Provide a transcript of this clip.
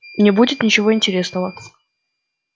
не будет ничего интересного